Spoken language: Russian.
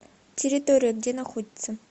территория где находится